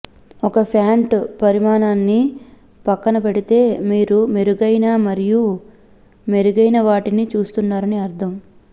ఒక ప్యాంటు పరిమాణాన్ని పక్కనపెడితే మీరు మెరుగైన మరియు మెరుగైనవాటిని చూస్తున్నారని అర్థం